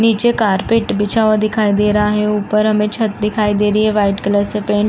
नीचे कारपेट बिछा हुआ दिखाई दे रहा है ऊपर हमें छत दिखाई दे रही है वाइट कलर से पेंट --